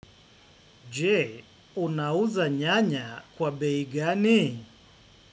Jee, unauza nyanya kwa beigani?